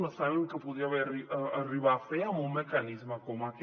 no sabem què podria arribar a fer amb un mecanisme com aquest